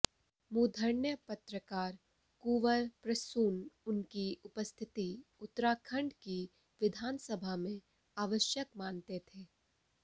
मूर्धन्य पत्रकार कुंवर प्रसून उनकी उपस्थिति उत्तराखण्ड की विधान सभा में आवश्यक मानते थे